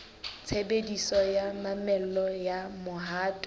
tshebediso ya mamello ya mohato